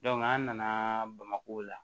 an nana bamako la